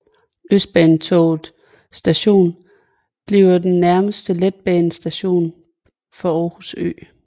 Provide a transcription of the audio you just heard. Østbanetorvet Station bliver den nærmeste letbanestation for Aarhus Ø